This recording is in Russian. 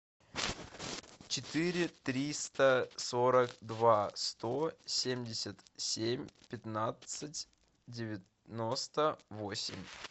четыре триста сорок два сто семьдесят семь пятнадцать девяносто восемь